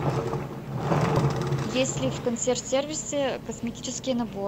есть ли в консьерж сервисе косметический набор